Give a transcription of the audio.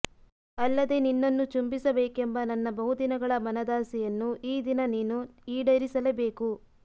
ಅಲ್ಲದೆ ನಿನ್ನನ್ನು ಚುಂಬಿಸಬೇಕೆಂಬ ನನ್ನ ಬಹುದಿನಗಳ ಮನದಾಸೆಯನ್ನು ಈ ದಿನ ನೀನು ಈಡೇರಿಸಲೇಬೇಕು